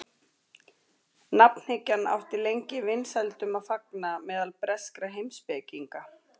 nafnhyggjan átti lengi vinsældum að fagna meðal breskra heimspekinga